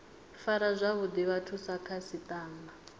fara zwavhuḓi vhathu sa khasiṱama